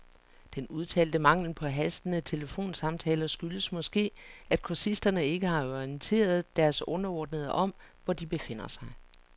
Den udtalte mangel på hastende telefonsamtaler skyldes måske, at kursisterne ikke har orienteret deres underordnede om, hvor de befinder sig.